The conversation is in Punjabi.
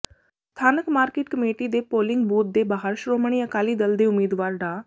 ਸਥਾਨਕ ਮਾਰਕੀਟ ਕਮੇਟੀ ਦੇ ਪੋਲਿੰਗ ਬੂਥ ਦੇ ਬਾਹਰ ਸ਼੍ਰੋਮਣੀ ਅਕਾਲੀ ਦਲ ਦੇ ਉਮੀਦਵਾਰ ਡਾ